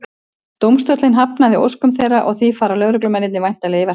Dómstóllinn hafnaði óskum þeirra og því fara lögreglumennirnir væntanlega í verkfall.